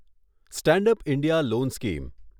stand up India loan scheme